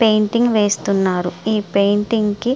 Painting వేస్తున్నారు. ఈ painting కి --